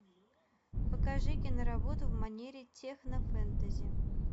покажи киноработу в манере техно фэнтези